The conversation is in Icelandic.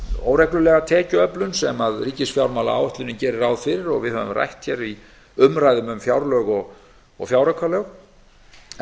óreglulega tekjuöflun sem ríkisfjármálaáætlunin gerir ráð fyrir og við höfum rætt hér í umræðum um fjárlög og fjáraukalög en þar er fyrst